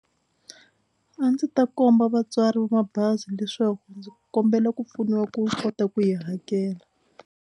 A ndzi ta komba vatswari mabazi leswaku ndzi kombela ku pfuniwa ku kota ku yi hakela.